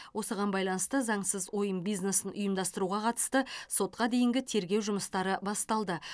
осыған байланысты заңсыз ойын бизнесін ұымдастыруға қатысты сотқа дейінгі тергеу жұмыстары басталды